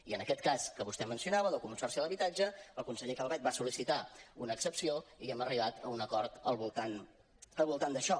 i en aquest cas que vostè mencionava del consorci de l’habitatge el conseller calvet va sol·licitar una excepció i hem arribat a un acord al voltant d’això